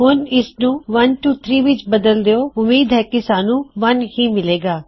ਹੁਣ ਇਸਨੂੰ 123 ਵਿੱਚ ਬਦਲ ਦਿੳ ਉਮੀਦ ਹੈ ਕੀ ਸਾਨੂੰ 1 ਹੀ ਮਿਲੇਗਾ